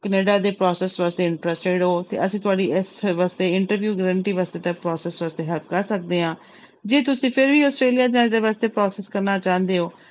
Canada ਦੇ process ਵਾਸਤੇ interested ਹੋ ਤੇ ਅਸੀਂ ਤੁਹਾਡੀ ਇਸ ਵਾਸਤੇ interview guarantee ਵਾਸਤੇ ਤਾਂ process ਤੇ help ਕਰ ਸਕਦੇ ਹਾਂ ਜੇ ਤੁਸੀਂ ਫਿਰ ਵੀ ਆਸਟ੍ਰੇਲੀਆ ਜਾਣ ਦੇ ਵਾਸਤੇ process ਕਰਨਾ ਚਾਹੁੰਦੇ ਹੋ,